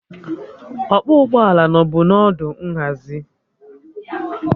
Ọkpọ ụgbọelu nọbu n'ọdụ nhazi